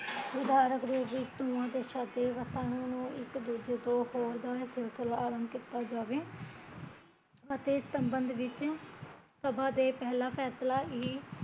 ਉਦਾਰਕ ਰੂਪ ਵਿੱਚ ਦੋਹਾਂ ਦੇਸ਼ਾਂ ਦੀ ਸਭਾ ਨੂ ਇੱਕ ਦੂਜੇ ਤੋਂ ਹੋਰ ਦਾ ਸਿਲਸਿਲਾ ਅਰੰਭ ਕੀਤਾ ਜਾਵੇ ਅਤੇ ਇਸ ਸਮਬੰਦ ਵਿੱਚ ਸਭਾ ਦਾ ਪਹਿਲਾਂ ਫੈਸਲਾ ਏਹੀ